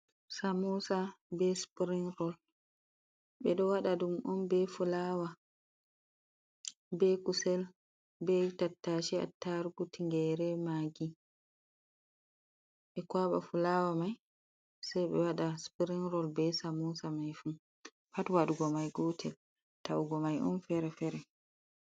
Samosa be spring rol ɓe ɗo waɗa ɗum on be fulawa be kusel be tattase, attarugu, tigere, maggi. Ɓe kwaba fulawa mai sei be wada spring roll be samosa mai fu pat wadugo mai gutel taugo mai on fere fere.